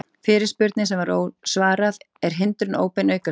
Fyrirspurnir sem var svarað: Er hindrun óbein aukaspyrna?